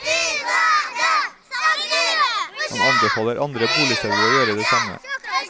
Han anbefaler andre boligselgere å gjøre det samme.